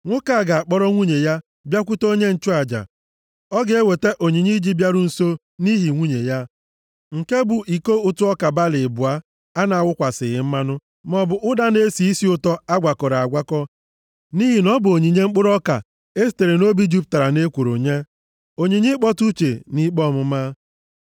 nwoke a ga-akpọrọ nwunye ya bịakwute onye nchụaja. Ọ ga-eweta onyinye iji ịbịaru nso nʼihi nwunye ya, nke bụ iko ụtụ ọka balị abụọ a na-awụkwasịghị mmanụ, maọbụ ụda na-esi isi ụtọ a gwakọrọ agwakọ, nʼihi na ọ bụ onyinye mkpụrụ ọka e sitere nʼobi jupụtara nʼekworo nye, onyinye ịkpọtụ uche nʼikpe ọmụma.